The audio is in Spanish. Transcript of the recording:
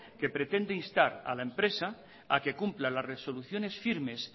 que pretende instar a la empresa a que cumpla las resoluciones firmes